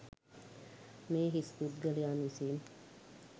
මේ හිස් පුද්ගලයන් විසින්